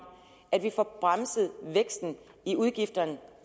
at vi får bremset væksten i udgifterne